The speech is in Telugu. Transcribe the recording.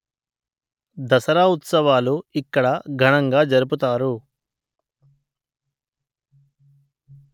దసరా ఉత్సవాలు ఇక్కడ ఘనంగా జరుపుతారు